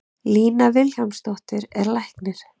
Lína Vilhjálmsdóttir er læknir.